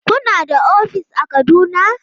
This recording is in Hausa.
Kuna da ofis a Kaduna?